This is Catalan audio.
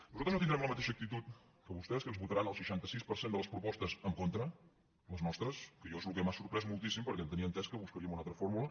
nosaltres no tindrem la mateixa actitud que vostès que ens votaran el seixanta sis per cent de les propostes en contra les nostres que a mi és el que m’ha sorprès moltíssim perquè tenia entès que buscaríem una altra fórmula